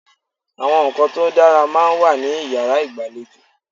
Àwọn ǹkan tó dára máa ń wà ní yàrá ìgbàlejò.